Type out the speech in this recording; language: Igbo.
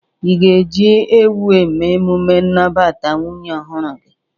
Ị ga-eji ewu eme emume nnabata nwunye ọhụrụ gị?